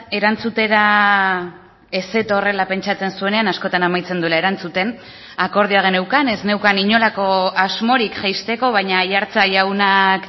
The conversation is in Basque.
erantzutera ez zetorrela pentsatzen zuenean askotan amaitzen duela erantzuten akordioa geneukan ez neukan inolako asmorik jaisteko baina aiartza jaunak